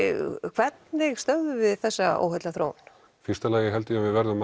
hvernig stöðvum við þessa óheillaþróun í fyrsta lagi held ég að við verðum að